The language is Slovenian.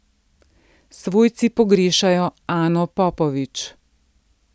Svojci pogrešajo Ano Popovič.